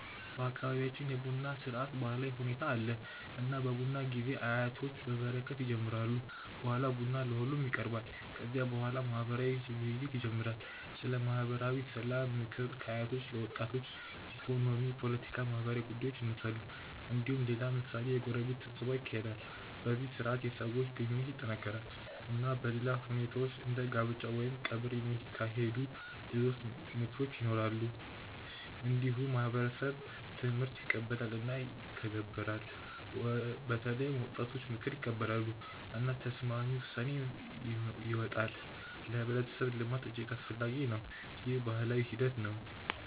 በአካባቢያችን የቡና ስርዓት ባህላዊ ሁኔታ አለ። እና በቡና ጊዜ አያቶች በበረከት ይጀምራሉ። በኋላ ቡና ለሁሉም ይቀርባል። ከዚያ በኋላ ማህበራዊ ውይይት ይኖራል። ስለ ማህበራዊ ሰላም፣ ምክር ከአያቶች ለወጣቶች፣ ኢኮኖሚ፣ ፖለቲካ፣ ማህበራዊ ጉዳዮች ይነሳሉ። እንዲሁም ሌላ ምሳሌ የጎረቤት ስብሰባ ይካሄዳል። በዚህ ስርዓት የሰዎች ግንኙነት ይጠናከራል። እና በሌላ ሁኔታዎች እንደ ጋብቻ ወይም ቀብር የሚካሄዱ ሌሎች ምክክሮች ይኖራሉ። እንዲሁም ማህበረሰብ ትምህርት ይቀበላል እና ይተገበራል። በተለይም ወጣቶች ምክር ይቀበላሉ። እና ተስማሚ ውሳኔ ይወጣል። ለህብረተሰብ ልማት እጅግ አስፈላጊ ነው። ይህ ባህላዊ ሂደት ነው።